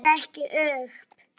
Lítur ekki upp.